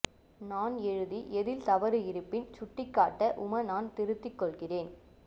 நான் எழுதி எதில் தவறு இருப்பின் சுட்டி காட்ட உம நான் திருத்தி கொள்கிறேன்